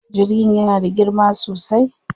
Jirgin yana da girma sosai.